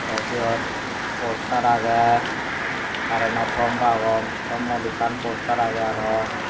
te sut poster aage current o thom agon thommot ekkan poster aage aro.